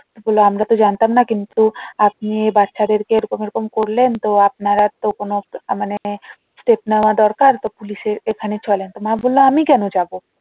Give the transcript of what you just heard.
তো বললো আমরা তো জানতাম না কিন্তু আপনি বাচ্চাদেরকে এইরকম এইরকম করলেন তো আপনারা তো মানে step নেওয়া দরকার তো পুলিশের ওখানে চলেন। তো মা বললো আমি কোনো যাবো?